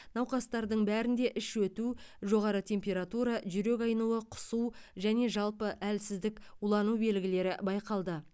науқастардың бәрінде іш өту жоғары температура жүрек айнуы құсу және жалпы әлсіздік улану белгілері байқалды